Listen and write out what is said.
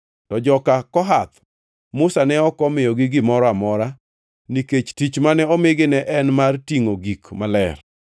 To joka Kohath, Musa ne ok omiyogi gimoro amora nikech tich mane omigi ne en mar tingʼo gik maler.